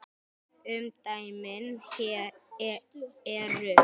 Umdæmin eru